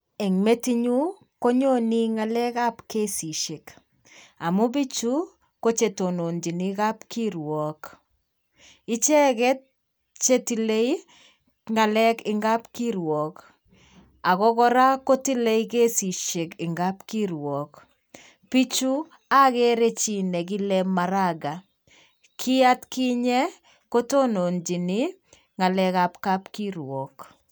Eng metinyu konyonei ngalekab kesisiek, amu bichu ko che tononchini kapkirwok, icheket chetile ii ngalek eng kapkirwook ako kora kotile kesisiek eng kapkirwook, bichu akere chi ne kile Maraga kii atkinye kotononchini ngalekap kapkirwok.